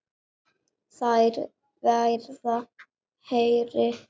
Þær verða hærri.